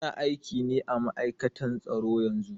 Yana aiki ne à ma'aikatan tsaro yanzu.